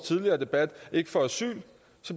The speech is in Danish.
tidligere debat ikke får asyl